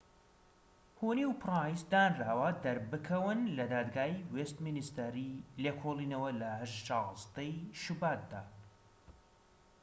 هونی و پرایس دانراوە دەربکەون لە دادگای وێستمینیستەر ی لێکۆڵینەوە لە ١٦ ی شوباتدا